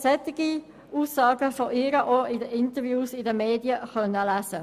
Solche Aussagen von ihr konnten Sie auch in den Medien lesen.